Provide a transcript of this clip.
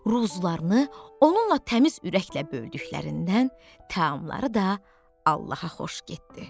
Ruzularını onunla təmiz ürəklə böldüklərindən taamları da Allaha xoş getdi.